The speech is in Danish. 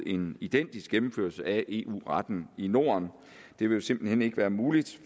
en identisk gennemførelse eu retten i norden det vil simpelt hen ikke være muligt